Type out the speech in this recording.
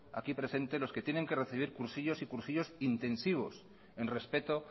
aquí presentes los que tienen que recibir cursillos y cursillos intensivos en respeto